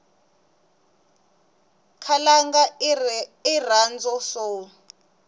khalanga irhandzwa soul